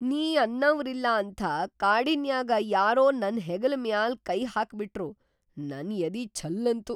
ನೀ ಅನ್ನವ್ರಿಲ್ಲಾ ಅಂಥಾ ಕಾಡಿನ್ಯಾಗ ಯಾರೋ ನನ್‌ ಹೆಗಲ್ ಮ್ಯಾಲ್‌ ಕೈ ಹಾಕ್ಬಿಟ್ರು ನನ್ ಯದಿ ಛಲ್ಲಂತು.